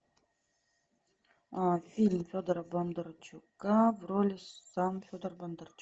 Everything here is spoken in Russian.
фильм федора бондарчука в роли сам федор бондарчук